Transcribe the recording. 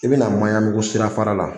I bɛ na Maɲanbugu sirafara la